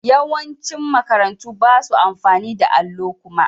Yawancin makarantu ba su amfani da allo kuma.